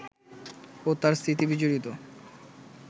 ও তার স্মৃতিবিজড়িত